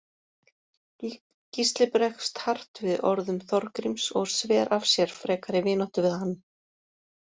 Gísli bregst hart við orðum Þorgríms og sver af sér frekari vináttu við hann.